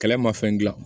Kɛlɛ ma fɛn gilan